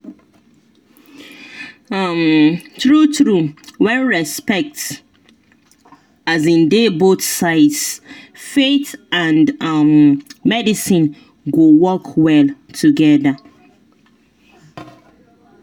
um true true when respect um dey both sides faith and um medicine go work well together.